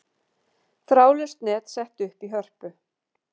Þráðlaust net sett upp í Hörpu